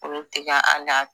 Olu te ka ala